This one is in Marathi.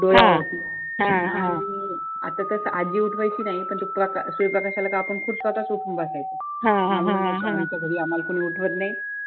डोळ्यावरती आणि आता कसं आज्जी उठवायची नाही पण तो सूर्यप्रकाश आला कि आपण स्वतः च उठून बसायचो